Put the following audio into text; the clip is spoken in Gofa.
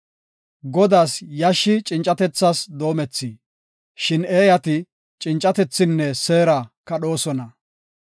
Godaas yashshi cincatethas doomethi; shin eeyati cincatethinne seera kadhoosona.